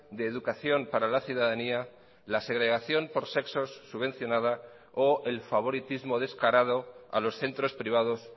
de educación para la ciudadanía la segregación por sexos subvencionada o el favoritismo descarado a los centros privados